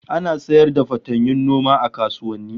Ana sayar da fatanyun noma a kasuwanni